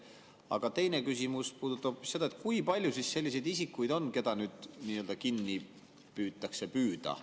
Aga teine küsimus puudutab seda, kui palju selliseid isikuid on, keda nüüd kinni püütakse püüda.